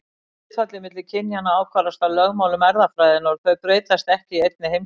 Hlutfallið milli kynjanna ákvarðast af lögmálum erfðafræðinnar og þau breytast ekki í einni heimstyrjöld.